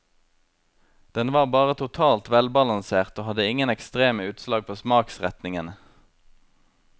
Den var bare totalt velbalansert og hadde ingen ekstreme utslag på smaksretningene.